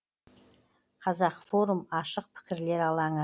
қазақ форум ашық пікірлер алаңы